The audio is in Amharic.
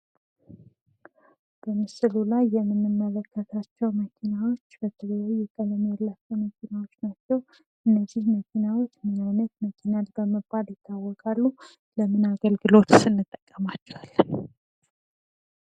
በምስሉ ላይ የምንመለከታቸው መኪናዎች ምን አይነት ቀለም ያላቸው መኪናዎች ናቸው? እነዚህ መኪናዎች ምን ዓይነት መኪናዎች በመባል ይታወቃሉ? ለምን አገልግሎትስ እንጠቀማቸዋለን?